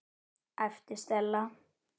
æpti Stella.